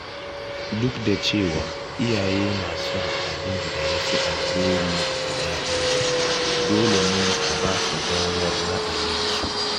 Duk da cewa iyaye na son abin da ya fi alheri ga ‘ya’yansu, dole ne a basu damar ra'ayinsu.